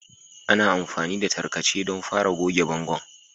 Ana amfani da tarkace don fara goge bangon